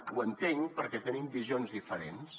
ho entenc perquè tenim visions diferents